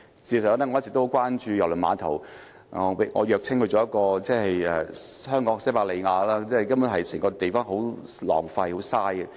事實上，我一直很關注郵輪碼頭，我謔稱它為香港的西伯利亞，因為根本浪費了整個地方。